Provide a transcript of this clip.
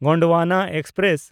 Gondwana express